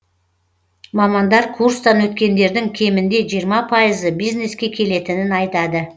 мамандар курстан өткендердің кемінде жиырма пайызы бизнеске келетінін айтады